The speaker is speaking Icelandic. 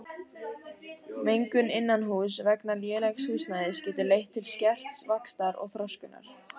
Mengun innanhúss vegna lélegs húsnæðis getur leitt til skerts vaxtar og þroskunar.